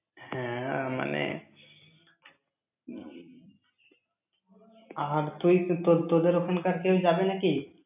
হ্যাঁ, মানে আর তুই তো~ তোদের ওখানকার কেউ যাবে নাকি?